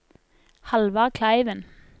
Halvard Kleiven